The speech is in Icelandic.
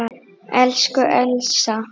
Elsku Elsa.